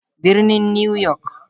Birnin New York.